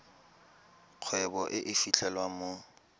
kgwebo e e fitlhelwang mo